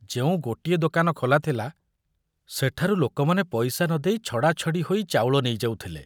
ଯେଉଁ ଗୋଟିଏ ଦୋକାନ ଖୋଲା ଥିଲା, ସେଠାରୁ ଲୋକମାନେ ପଇସା ନ ଦେଇ ଛଡ଼ାଛଡ଼ି ହୋଇ ଚାଉଳ ନେଇଯାଉଥିଲେ।